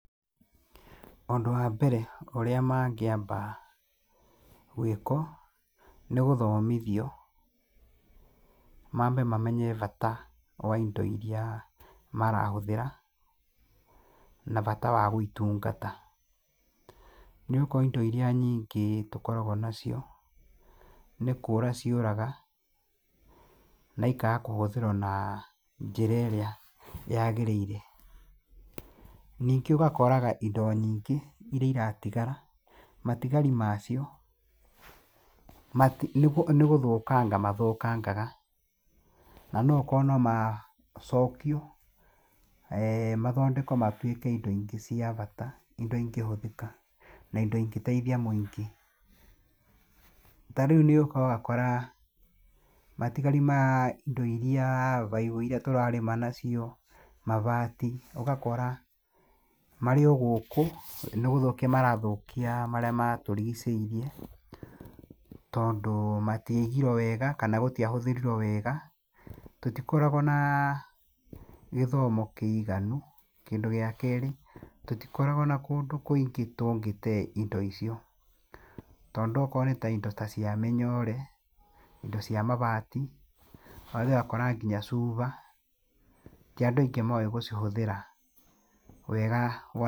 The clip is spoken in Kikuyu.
Ũndũ wambere ũrĩa mangĩamba gwĩkwo, nĩ gũthomithio, mambe mamenye bata wa indo iria marahũthĩra na bata wa gũitungata. Nĩ ũgũkora indo iria nyingĩ tũkoragwo nacio, nĩ kũũra ciũraga na ikaga kũhũthĩrwo na njĩra ĩrĩa yagĩrĩire. Ningĩ ugakoraga indo nyingĩ iria iratigara, matigari macio nĩ gũthũkanga mathũkangaga na nokorwo no macokio, mathondekwo matuĩke indo ingĩ cia bata, indo ingĩhũthĩka, na indo ingĩteithia mũingĩ. Ta rĩu nĩ ũka ũgakora matigari ma indo iria, baibũ iria tũrarĩma nacio, mabati, ũgakora marĩ o gũkũ, nĩ gũthũkia marathũkia marĩa matũrigicĩirie tondũ matiaigirwo wega kana gũtiahũthĩrirwo wega. Tũtikoragwo na gĩthomo kĩiganu, kĩndũ gĩa kerĩ, tũtikoragwo na kũndũ kũingĩ tũngĩtee indo icio tondũ okorwo nĩ ta indo ta cia mĩnyoore, indo cia mabati, ũgathi ũgakora nginya cuba, ti andũ aingĩ moĩ gũcihũthĩra wega.